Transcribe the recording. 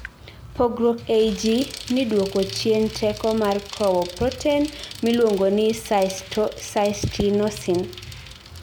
pugruok ei ji ni duoko chien teko mar kowo proten miluongo cystinosin